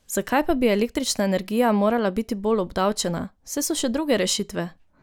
Zakaj pa bi električna energija morala biti bolj obdavčena, saj so še druge rešitve?